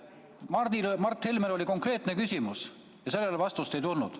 Mart Helmel oli konkreetne küsimus, aga sellele vastust ei tulnud.